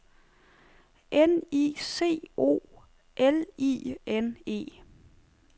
N I C O L I N E